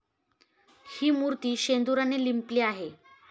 हि मूर्ती शेंदुराने लिंपली आहे.